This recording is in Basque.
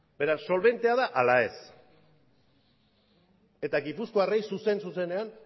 beraz solbentea da ala ez eta gipuzkoarrei zuzen zuzenean